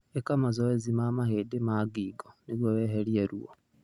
Ĩka mazoezi ma mahĩndĩ ma ngingo nĩguo weherie ruo.